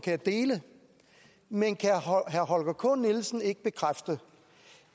jeg dele men kan herre holger k nielsen ikke bekræfte